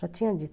Já tinha dito.